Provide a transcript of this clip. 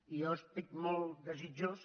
i jo estic molt desitjós